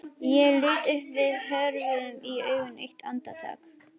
Ég lít upp og við horfumst í augu eitt andartak.